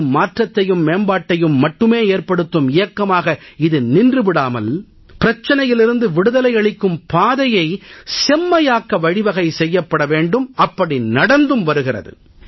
வெறும் மாற்றத்தையும் மேம்பாட்டையும் மட்டுமே ஏற்படுத்தும் இயக்கமாக இது நின்று விடாமல் பிரச்சனையிலிருந்து விடுதலை அளிக்கும் பாதையை செம்மையாக்க வழிவகை செய்யப்பட வேண்டும் அப்படி நடந்தும் வருகிறது